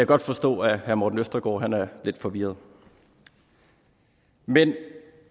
godt forstå at herre morten østergaard er lidt forvirret men